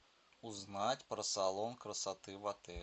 узнать про салон красоты в отеле